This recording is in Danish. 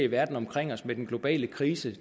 verden omkring os med den globale krise